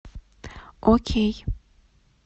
окей